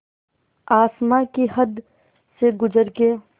आसमां की हद से गुज़र के